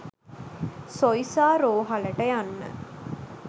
සොයිසා රෝහලට යන්න.